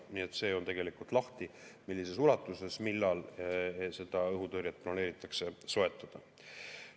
Nii et see on tegelikult lahti, millises ulatuses ja millal seda õhutõrjet planeeritakse soetada.